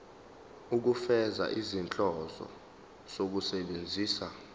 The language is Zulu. ukufeza izinhloso zokusebenzisa